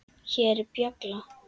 Hér er bjalla.